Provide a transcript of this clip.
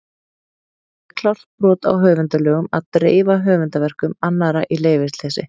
Og það er klárt brot á höfundalögum að dreifa höfundarverkum annarra í leyfisleysi!